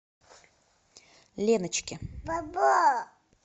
леночке